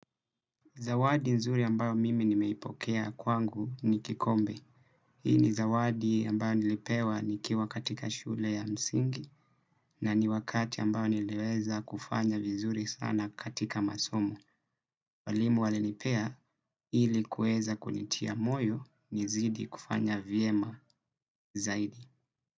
Zawadi nzuri ambayo mimi nimeipokea kwangu ni kikombe. Hii ni zawadi ambayo nilipewa nikiwa katika shule ya msingi na ni wakati ambayo nileweza kufanya vizuri sana katika masomo. Walimu wainipea hili kueza kunitia moyo nizidi kufanya viema zaidi.